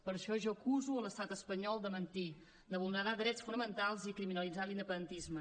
per això jo acuso l’estat espanyol de mentir de vulnerar drets fonamentals i criminalitzar l’independentisme